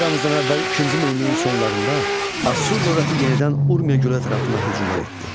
Eramızdan əvvəl ikinci minilliyin sonlarında Assur dövləti yenidən Urmiya göl ətrafına hücumlar etdi.